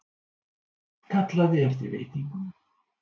Kallaði eftir veitingum.